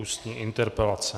Ústní interpelace